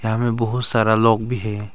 यहाँ में बहुत सारा लोग भी है।